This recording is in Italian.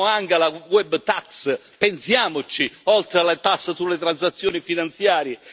Pensiamo anche alla web tax pensiamoci, oltre alle tasse sulle transazioni finanziarie.